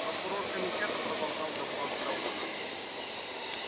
прокурор комитета продолжал допрос сэлдона